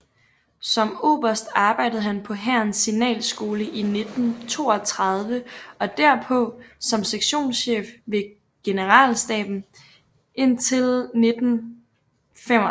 Som oberst arbejdede han på hærens signalskole i 1932 og derpå som sektionschef ved generalstaben indtil 1935